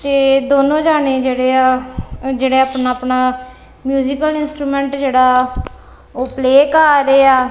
ਤੇ ਦੋਨੋਂ ਜਾਨੇ ਜਿਹੜੇ ਆ ਉਹ ਜਿਹੜੇ ਅਪਨਾ ਅਪਨਾ ਮਿਊਜ਼ੀਕਲ ਇੰਸਟਰੁਮੇਂਟ ਜਿਹੜਾ ਵਾ ਉਹ ਪਲੇ ਕਰ ਰਹੇ ਆ।